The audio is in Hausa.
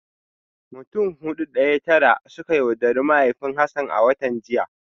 Mutum Hudu daya Tara ne suka yaudari mahaifin Hassan a watan jiya